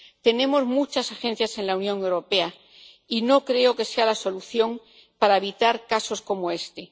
Tenemos muchas agencias en la Unión Europea, y no creo que sea la solución para evitar casos como este.